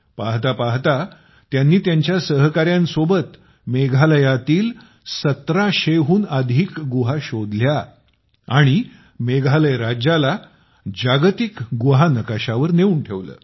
पाहता पाहता त्यांनी त्यांच्या सहकाऱ्यांसोबत सोबत मेघालयातील 1700 हून अधिक गुंफा शोधल्या आणि मेघालय राज्याला जागतिक गुहा नकाशावर नेऊन ठेवले